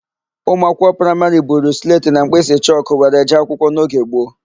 Ụmụakwụkwọ praịmarị buru sletị na mkpịsịchọkụ were jee akwụkwọ n'oge gboo.